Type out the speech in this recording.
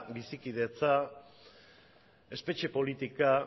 bizikidetza espetxe politika